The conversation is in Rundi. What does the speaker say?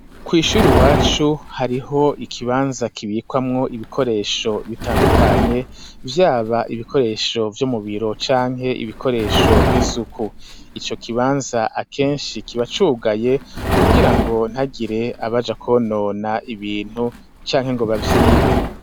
Kw'ishuri iwacu hariho ikibanza kibikwamwo ibikoresho bitandukanye vyaba ibikoresho vyo mubiro canke ibikoresho vy'isuku ico kibanza akeshi kiba cugaye kugira ngo ntihagire abaja konona ibintu canke ngo bavyibe.